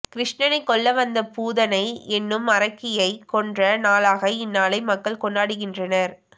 கிருஷ்ணனைக் கொல்ல வந்த பூதனை என்னும் அரக்கியைக் கொன்ற நாளாக இந்நாளை மக்கள் கொண்டாடுகின்றனர்